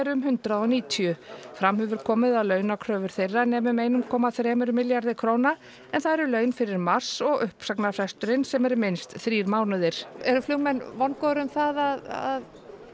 um hundrað og níutíu fram hefur komið að launakröfur þeirra nemi um eitt komma þrjú milljarði króna en það eru laun fyrir mars og uppsagnarfresturinn sem er minnst þrír mánuðir eru flugmenn vongóðir um það að